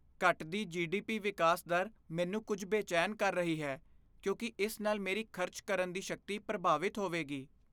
ਘਟਦੀ ਜੀ.ਡੀ.ਪੀ. ਵਿਕਾਸ ਦਰ ਮੈਨੂੰ ਕੁੱਝ ਬੇਚੈਨ ਕਰ ਰਹੀ ਹੈ ਕਿਉਂਕਿ ਇਸ ਨਾਲ ਮੇਰੀ ਖ਼ਰਚ ਕਰਨ ਦੀ ਸ਼ਕਤੀ ਪ੍ਰਭਾਵਿਤ ਹੋਵੇਗੀ।